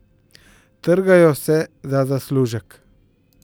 Trgajo se za zaslužek.